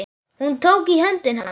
Hún tók í hönd hans.